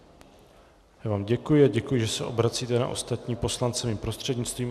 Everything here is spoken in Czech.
Já vám děkuji a děkuji, že se obracíte na ostatní poslance mým prostřednictvím.